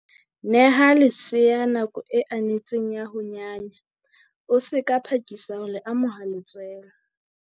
Neha lesea nako e anetseng ya ho nyanya, o se ka phakisa ho le amoha letswele.